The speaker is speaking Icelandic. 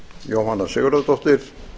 jóhanna sigurðardóttir